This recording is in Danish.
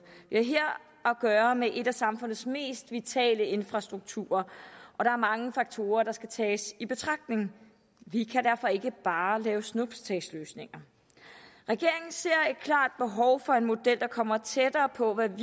vi har her at gøre med en af samfundets mest vitale infrastrukturer og der er mange faktorer der skal tages i betragtning vi kan derfor ikke bare lave snuptagsløsninger regeringen ser et klart behov for en model der kommer tættere på at vi